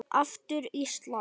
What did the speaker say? Aftur Ísland.